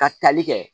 Ka tali kɛ